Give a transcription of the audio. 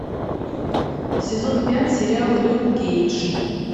сезон пять сериал люк кейдж